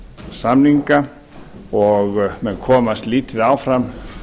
samninga og menn komast lítið áfram